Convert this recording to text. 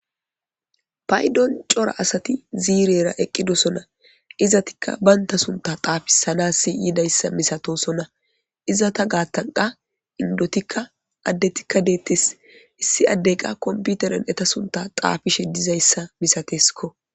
paydon cora asati ziirera eqqidosona izatikka baynta sunta xaafisanassi yiidayssa misatosonna izata gaattanqa indotikka addetikka deettes issi addeyqa komputeren eta sunta xaafishe dizayssa misateskko